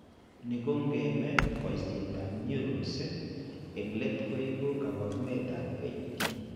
Ni ko ng'eme boisietap neurons, eng' let koibu kaabarunetap HD.